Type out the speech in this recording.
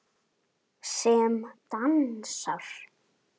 Sem dansar.